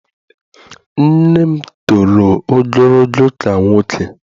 Nne m toro ogologo ka nwoke.